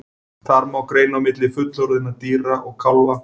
Þar má greina á milli fullorðinna dýra og kálfa.